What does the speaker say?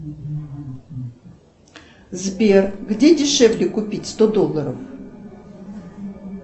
сбер где дешевле купить сто долларов